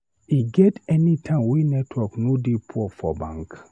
E get anytime wey network no dey poor for bank?